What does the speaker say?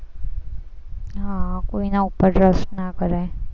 હમ કોઈના ઉપર trust ના કરાય.